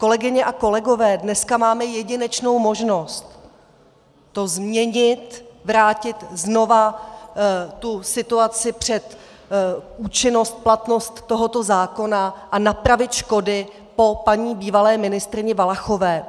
Kolegyně a kolegové, dneska máme jedinečnou možnost to změnit, vrátit znova tu situaci před účinnost, platnost tohoto zákona a napravit škody po paní bývalé ministryni Valachové.